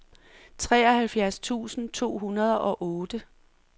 treoghalvfjerds tusind to hundrede og otte